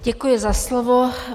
Děkuji za slovo.